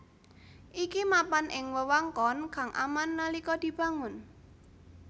Iki mapan ing wewengkon kang aman nalika dibangun